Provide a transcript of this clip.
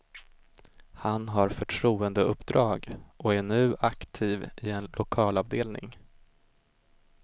Han har förtroendeuppdrag och är nu aktiv i en lokalavdelning.